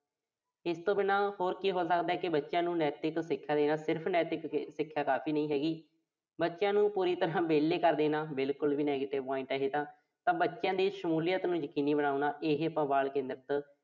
ਇਸ ਤੋਂ ਬਿਨਾਂ ਹੋਰ ਕੀ ਹੋ ਸਕਦਾ। ਬੱਚਿਆਂ ਨੂੰ ਨੈਤਿਕ ਸਿੱਖਿਆ ਦੇਣਾ। ਸਿਰਫ਼ ਨੈਤਿਕ ਸਿੱਖਿਆ ਕਾਫ਼ੀ ਨਹੀਂ ਹੈਗੀ। ਬੱਚਿਆਂ ਨੂੰ ਪੂਰੀ ਤਰ੍ਹਾਂ ਵਿਹਲੇ ਕਰ ਦੇਣਾ, ਬਿਲਕੁਲ ਹੀ negative point ਆ ਇਹ ਤਾਂ। ਬੱਚਿਆਂ ਦੀ ਸ਼ਮੂਲੀਅਤ ਨੂੰ ਯਕੀਨੀ ਬਣਾਉਣਾ। ਇਹੇ ਆਪਾਂ ਬਾਲ ਕੇਂਦਰਤ